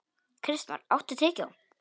Kristmar, áttu tyggjó?